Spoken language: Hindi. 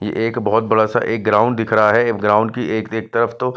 ये एक बहुत बड़ासा एक ग्राउंड दिख रहा है ग्राउंड की एक-एक तरफ तो--